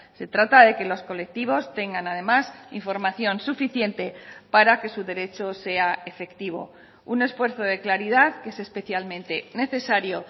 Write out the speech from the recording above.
se trata de que los colectivos tengan además información suficiente para que su derecho sea efectivo un esfuerzo de claridad que es especialmente necesario